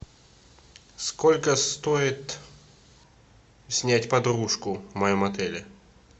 сколько стоит снять подружку в моем отеле